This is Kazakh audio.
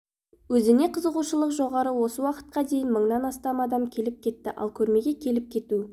өзіне қызығушылық жоғары осы уақытқа дейін мыңнан астам адам келіп кетті ал көрмеге келіп кету